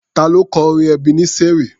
Ta ló kọ orin Ebeneseri?